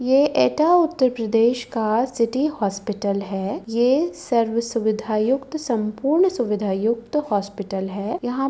ये एटा उतर प्रदेश का city hospital है। ये सर्व सुविधा युक्त सम्पूर्ण सुविधा युक्त हॉस्पिटल है। यहाँं --